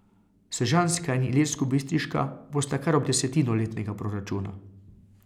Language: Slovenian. Sežanska in ilirskobistriška bosta kar ob desetino letnega proračuna.